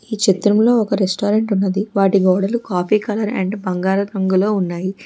ఈ చిత్రంలో ఒక రెస్టారెంట్ ఉన్నది వాటి గోడలు కాఫీ కాలర్ అండ్ బంగారు రంగులో ఉన్నవి.